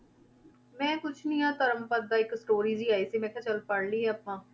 ਮੈਂ ਕੁਛ ਨੀ ਆਹ ਧਰਮਪਦ ਦਾ ਇੱਕ story ਜਿਹੀ ਆਈ ਸੀ ਮੈਂ ਕਿਹਾ ਚੱਲ ਪੜ੍ਹ ਲਈਏ ਆਪਾਂ।